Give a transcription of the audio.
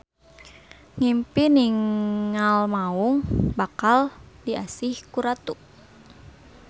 Ngimpi ningal maung; bakal diasih ku ratu.